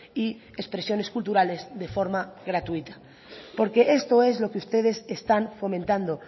y expresiones culturales de forma gratuita porque esto es lo que ustedes están fomentando